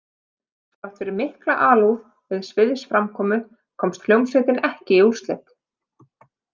Þrátt fyrir mikla alúð við sviðsframkomu komst hljómsveitin ekki í úrslit.